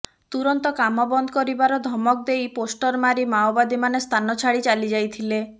ତୁରନ୍ତ କାମ ବନ୍ଦ କରିବାର ଧମକ ଦେଇ ପୋଷ୍ଟର ମାରି ମାଓବାଦୀମାନେ ସ୍ଥାନ ଛାଡି ଚାଲିଯାଇଥିଲେ